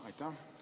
Aitäh!